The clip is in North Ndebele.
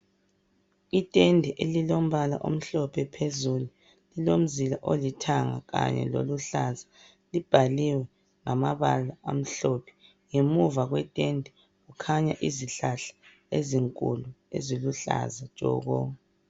itende elilombala omhlophe phezulu lilomzila olithanga kanye loluhlaza libhakliwe ngamabala amhlophe ngemuva kwetende kukhanya izihlahla ezinkulu ezilhlaza tshoko